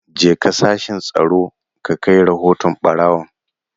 Jeka sashin Tsaro ka kai rahoton barawon!